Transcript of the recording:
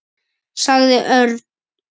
sagði Örn.